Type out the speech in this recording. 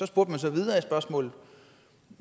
spurgte så videre